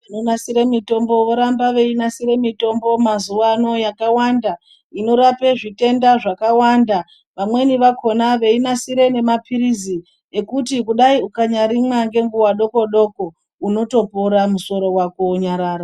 Vanonasire mitombo voramba veinasire mitombo mazuvaano yakawanda inorape zvitenda zvakawanda. Vamweni vakona veinasire nemapirizi ekuti kudai ukanyarimwa, ngenguva doko-doko unotopora musoro wako wonyarara.